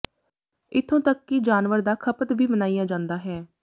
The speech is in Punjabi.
ਇੱਥੋਂ ਤੱਕ ਕਿ ਜਾਨਵਰ ਦਾ ਖਪਤ ਵੀ ਮਨਾਇਆ ਜਾਂਦਾ ਹੈ